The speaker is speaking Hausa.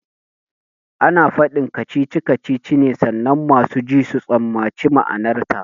Ana faɗin kacici kacici ne sannan masu ji su tsammaci ma'anarta